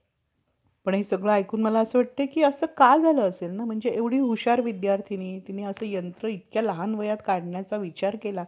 पण त्याविषयी खात्री होण्याजोगा लेख कुठेच आढळत नाही. पुढे याप्रमाणे शेषशाही लक्ष्मी पत्नी असा त्यांचे आपल्या बेंबीपासूनच्या चार तोंडाचे,